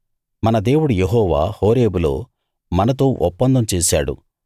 మన దేవుడు యెహోవా హోరేబులో మనతో ఒప్పందం చేశాడు